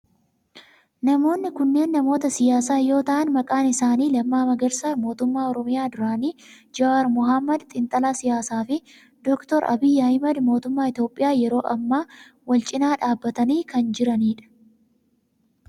Namoonni kunneen namoota siyaasaa yoo ta'aan maqaan isaanii Lammaa Magarsaa mootummaa Oromiyaa duraanii, Jawaar Mohaammed xiinxalaa siyaasaa fi Dr. Abiyi Ahimeed mootummaa Itiyoophiyaa yeroo ammaa wal cinaa dhaabbatanii kan jiranidha.